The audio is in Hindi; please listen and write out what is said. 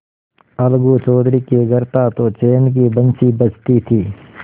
अलगू चौधरी के घर था तो चैन की बंशी बजती थी